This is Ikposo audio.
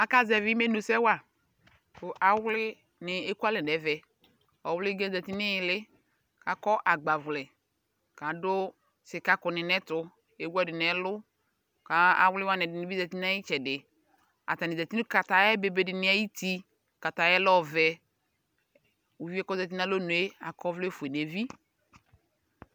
Aka zɛvi imenu sɛ wa kʋ Awli ni ekualɛ nɛvɛ Ɔwli ga yɛ zati nihili, akɔ agbavlɛ, k'adʋ sika kʋ ni n'ɛtʋ Ewu ɛdi n'ɛlʋ ka Awli wani ɛdini bi zati n'ay'itsɛdi Atani zati nʋ kataya bebe dini ayuti Kataya lɛ ɔvɛ Uvi yɛ k'ozati n'alɔnue akɔ vlɛ fue n'evi